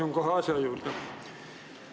Asun kohe asja juurde.